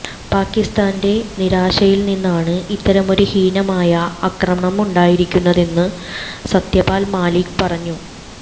പാകിസ്ഥാന്റെ നിരാശയില്നിന്നാണ് ഇത്തരമൊരു ഹീനമായ ആക്രമണമുണ്ടായിരിക്കുന്നതെന്നും സത്യപാല് മാലിക് പറഞ്ഞു